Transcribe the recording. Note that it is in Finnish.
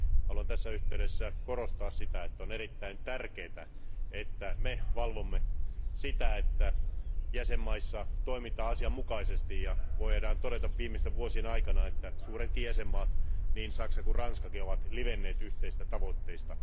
Haluan tässä yhteydessä korostaa sitä, että on erittäin tärkeää, että me valvomme sitä, että jäsenmaissa toimitaan asianmukaisesti, ja voidaan todeta viimeisten vuosien aikana, että suuretkin jäsenmaat, niin Saksa kuin Ranskakin, ovat livenneet yhteisistä tavoitteista.